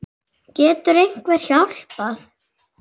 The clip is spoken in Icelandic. Getur einhver hjálpað?